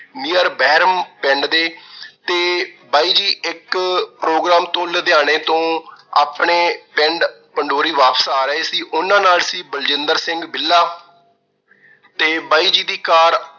near ਬੈਰਮ ਪਿੰਡ ਦੇ ਤੇ ਬਾਈ ਜੀ ਇੱਕ program ਤੋਂ ਲੁਧਿਆਣੇ ਤੋਂ ਆਪਣੇ ਪਿੰਡ ਪੰਡੋਰੀ ਵਾਪਸ ਆ ਰਹੇ ਸੀ। ਉਹਨਾਂ ਨਾਲ ਸੀ ਬਲਜਿੰਦਰ ਸਿੰਘ ਬਿੱਲਾ। ਤੇ ਬਾਈ ਜੀ ਦੀ car